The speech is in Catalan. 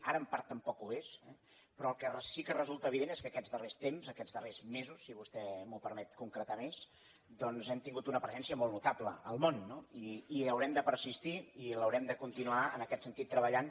ara en part tampoc ho és però el que si resulta evident és que aquests darrers temps aquests darrers mesos si vostè m’ho permet concretar més hem tingut una presència molt notable al món i haurem de persistir i l’haurem de continuar en aquest sentit treballant